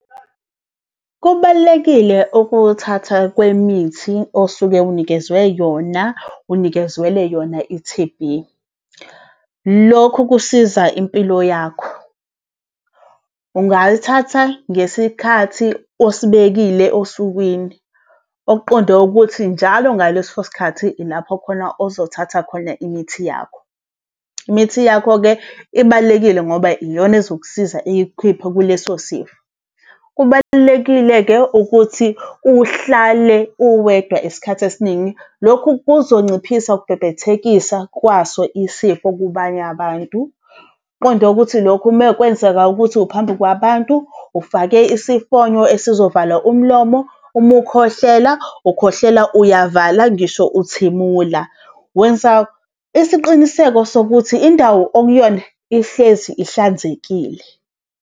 Kubalulekile ukuthatha kwemithi osuke unikezwe yona, unikezelwe yona i-T_B. Lokhu kusiza impilo yakho. Ungalithatha ngesikhathi osibekile osukwini. Okuqonde ukuthi, njalo ngaleso sikhathi ilapho khona ozothatha khona imithi yakho. Imithi yakho-ke ibalulekile ngoba iyona ezokusiza ikukhiphe kuleso sifo. Kubalulekile-ke ukuthi uhlale uwedwa isikhathi esiningi, lokhu kuzonciphisa ukubhebhethekisa kwaso isifo kubanye abantu. Kuqonde ukuthi lokhu uma kwenzeka ukuthi uphambi kwabantu, ufake isifonyo esizovala, umlomo, uma ukhohlela, ukhohlela uyavala ngisho uthimula. Wenza isiqiniseko sokuthi indawo okuyona ihlezi ihlanzekile.